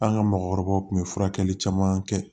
An ka mɔgɔkɔrɔbaw tun bɛ furakɛli caman kɛ